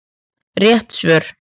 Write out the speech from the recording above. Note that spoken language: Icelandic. Rétt svör